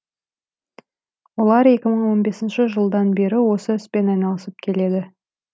олар екі мың он бесінші жылдан бері осы іспен айналысып келеді